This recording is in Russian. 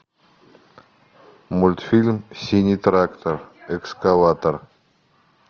мультфильм синий трактор экскаватор